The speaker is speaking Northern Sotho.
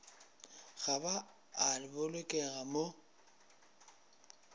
ga ba a bolokega mo